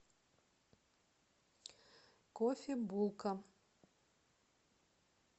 кофебулка